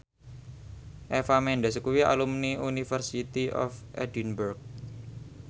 Eva Mendes kuwi alumni University of Edinburgh